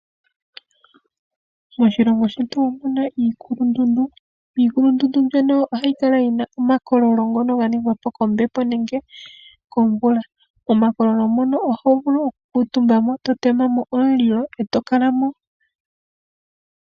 Moshilongo shetu omu na iikukulundundu. Miikulundundu muno oha mu kala mu na omakololo, ngono ga ningwa po kombepo, nenge komvula. Momakololo mono oho vulu oku kuutumba mo, nenge to tema mo omulilo, e to kala mo.